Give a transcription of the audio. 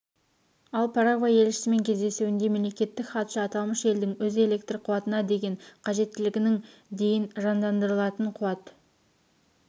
ал парагвай елшісімен кездесуінде мемлекеттік хатшы аталмыш елдің өз электр қуатына деген қажеттілігінің дейін жандандырылатын қуат